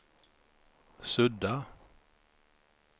sudda